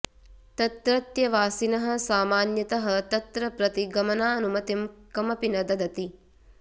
तत्रत्यवासिनः सामान्यतः तत्र प्रति गमनानुमतिं कमपि न ददति